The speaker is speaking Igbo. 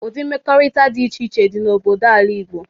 Ụdi mmekọrịta dị iche iche dị n'obodo ala Igbo.